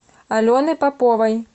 алены поповой